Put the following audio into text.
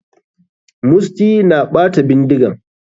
Musty na ɓata bindigan.